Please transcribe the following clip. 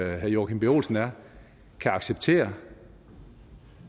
herre joachim b olsen er kan acceptere